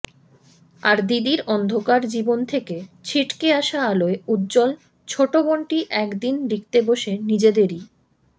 আর দিদির অন্ধকার জীবন থেকে ছিটকে আসা আলোয় উজ্জ্বল ছোটবোনটি এক দিন লিখতে বসে নিজেদেরই